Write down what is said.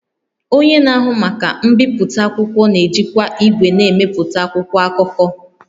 Onye na-ahụ maka mbipụta akwụkwọ na-ejikwa igwe na-emepụta akwụkwọ akụkọ